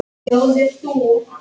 Þú veist ekki allt.